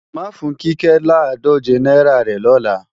Máa fún Kíkẹ́ làádòje náírà rẹ̀ lọ́la